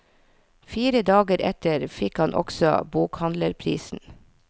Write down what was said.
Fire dager etter fikk han også bokhandlerprisen.